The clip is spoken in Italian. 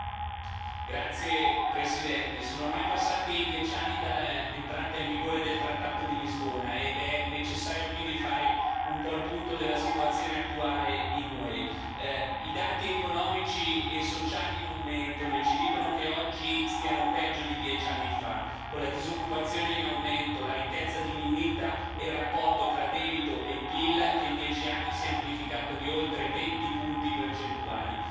Signor Presidente, onorevoli colleghi, sono ormai passati dieci anni dall'entrata in vigore del trattato di Lisbona ed è necessario, quindi, fare un po' il punto della situazione attuale nell'UE. I dati economici e sociali non mentono e ci dicono che oggi stiamo peggio di dieci anni fa, con la disoccupazione in aumento, la ricchezza diminuita e il rapporto tra debito e PIL che in dieci anni si è amplificato di oltre venti punti percentuali.